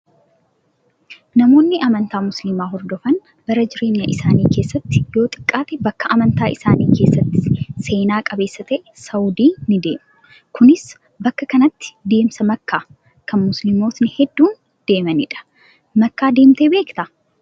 Namoonni amantaa musliimaa hordofan bara jireenya isaanii keessatti yoo xiqqaate bakka amantaa isaanii keessatti seenaa qabeessa ta'e saawudii ni deemuu. Kunis bakka kanatti deemsa makkaa kan musliimotni hedduun deemanidha. Makkaa deemtee beektaa?